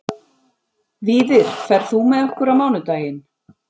Víðir, ferð þú með okkur á mánudaginn?